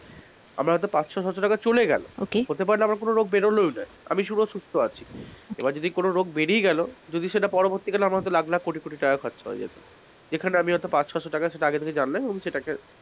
আমার হয়তো পাঁচশো টাকা বা ছশো টাকা চলে গেলো হতে পারে আমার কোনো রোগ বেরোলোই না আমি সুস্থ আছি এবার কোনো রোগ বেরিয়ে গেলো যদি কোন রোগ বেরিয়ে গেলো যদি সেটা পরবর্তী কালে আমার হয়তো লাখলাখ, কোটিকোটি টাকা খরচা হয়ে যেতো, যেখানে হয়তো পাঁচ-ছশো টাকাই আগে থেকে জানলাম